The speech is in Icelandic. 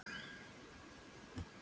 Sé þig síðar.